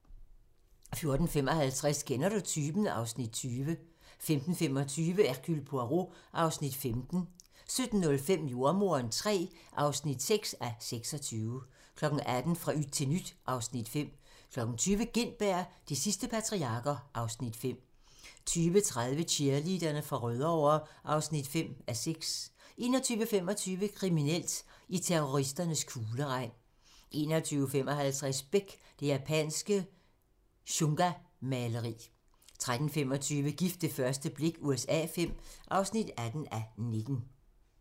14:55: Kender du typen? (Afs. 20) 15:25: Hercule Poirot (15:75) 16:15: Hercule Poirot (16:75) 17:05: Jordemoderen III (6:26) 18:00: Fra yt til nyt (Afs. 5) 20:00: Gintberg - De sidste patriarker (Afs. 5) 20:30: Cheerleaderne fra Rødovre (5:6) 21:25: Kriminelt: I terroristernes kugleregn 21:55: Beck: Det japanske shungamaleri 23:25: Gift ved første blik USA V (18:19)